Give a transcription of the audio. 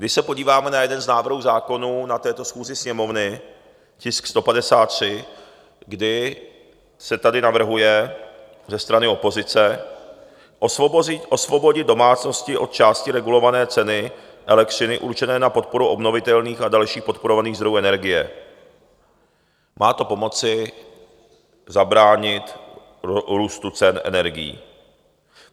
Když se podíváme na jeden z návrhů zákonů na této schůzi Sněmovny, tisk 153, kdy se tady navrhuje ze strany opozice osvobodit domácnosti od části regulované ceny elektřiny určené na podporu obnovitelných a dalších podporovaných zdrojů energie, má to pomoci zabránit růstu cen energií.